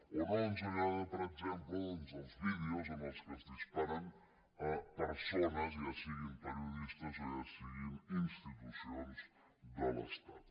o no ens agrada per exemple doncs els vídeos en què es dispara a persones ja siguin periodistes o ja siguin institucions de l’estat